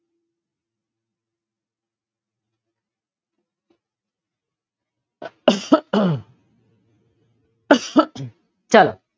ચલો